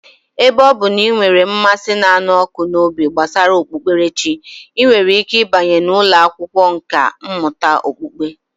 Ebe ọ bụ na ị nwere mmasị na ịnụ ọkụ n'obi gbasara okpukperechi, ị nwere ike ịbanye n'ụlọ akwụkwọ nkà mmụta okpukpe